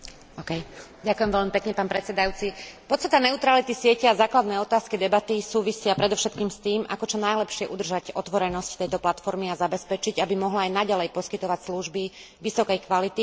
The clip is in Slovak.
Podstata neutrality siete a základné otázky debaty súvisia predovšetkým s tým, ako čo najlepšie udržať otvorenosť tejto platformy a zabezpečiť, aby mohla aj naďalej poskytovať služby vysokej kvality pre všetkých a umožnila šíriť inovácie.